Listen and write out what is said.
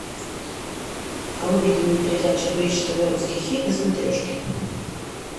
выведи мне передачу бридж тв русский хит на смотрешке